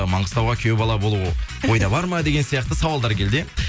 маңғыстауға күйеу бала болу ойда бар ма деген сияқты сауалдар келді иә